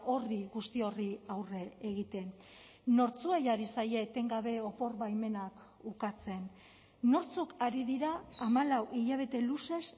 horri guzti horri aurre egiten nortzuei ari zaie etengabe opor baimenak ukatzen nortzuk ari dira hamalau hilabete luzez